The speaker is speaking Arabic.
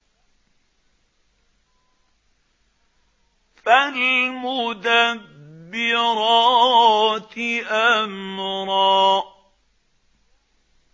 فَالْمُدَبِّرَاتِ أَمْرًا